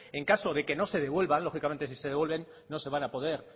en caso de que no se devuelva lógicamente si se devuelven no se van a poder